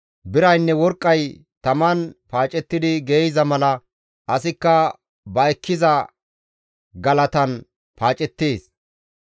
Biraynne worqqay taman paacettidi geeyza mala asikka ba ekkiza galatan paacettees.